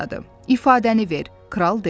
İfadəni ver, kral dedi.